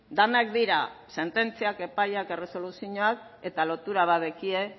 denak dira sententziak epaiak erresoluzioak eta lotura bat daukate